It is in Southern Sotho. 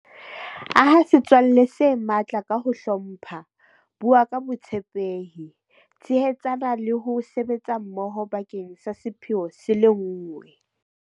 Aha setswalle se matla ka ho hlompha, bua ka botshepehi, tshehetsana le ho sebetsa mmoho bakeng sa sepheo se le nngwe.